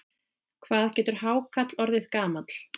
Hvað getur hákarl orðið gamall?